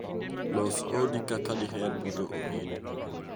Los odi kaka diher mondo obed.